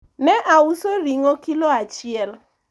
ne auso ringo kilo achiel